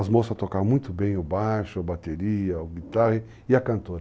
As moças tocavam muito bem o baixo, a bateria, a guitarra e a cantora.